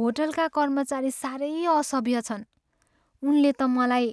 होटलका कर्मचारी साह्रै असभ्य छन्। उनले त मलाई